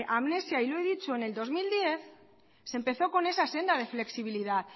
amnesia y lo he dicho en el dos mil diez se empezó con esa senda de flexibilidad